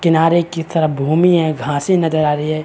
किनारे कि तरफ भूमि हैं घासें नज़र आ रही है।